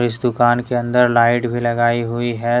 इस दुकान के अंदर लाइट भी लगाई हुई है।